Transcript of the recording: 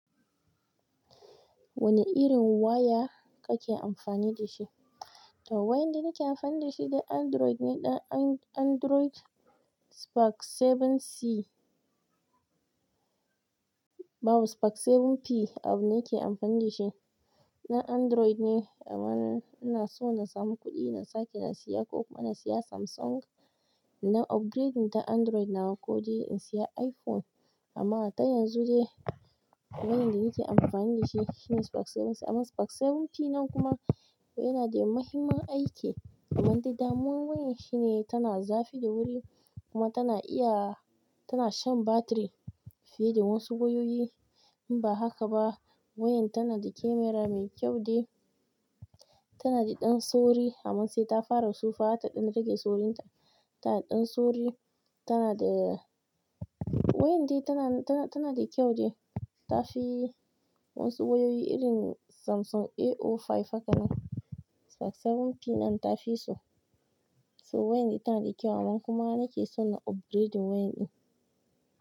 Wane irin waya kake amfani da shi? To wayar da nake amfani da shi dai Android ne, ɗan An-Android Spark bakwai c. Babu Spark bakwai p, abu nake amfani da shi. Na Android ne amma, ina so na samu kuɗi na sake na siya ko kuma na siya Samsung. Na upgrading ta Android na ko dai in siya iPhone. Amma ta yanzu dai, wayar da nake amfani da shi shine Spark bakwai c amma Spark bakwai p nan kuma yana da muhimman aiki. Amma dai damuwan wayar shine tana zafi da wuri, kuma tana iya, tana shan batiri fiye da wasu wayoyi. In ba haka ba wayar tana da kemera mai kyau dai. Tana da ɗan sauri amma sai ta fara tsufa ta ɗan rage saurinta. Tana ɗan sauri, tana da, wayar dai tana, tana, tana da kyau dai. Ta fi wasu wayoyi irin Samsung A sifili biyar haka nan. Spark bakwai p nan ta fi su. To wayar ita tana da kyau, amma kuma nake son na upgrading wayar ɗin.